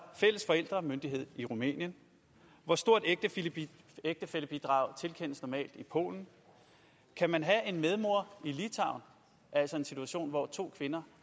fælles forældremyndighed i rumænien hvor stort ægtefællebidrag tilkendes normalt i polen kan man have en medmor i litauen altså en situation hvor to kvinder